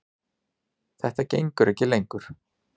Þetta gengur ekki lengur.